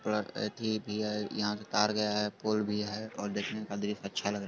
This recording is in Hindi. थोडा सा अति भी है| यहाँ से तार गया है| पोल भी है और देखेने में अ दृश्य अच्छा लग रहा--